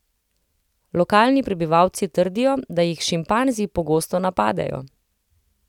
Lokalni prebivalci trdijo, da jih šimpanzi pogosto napadejo.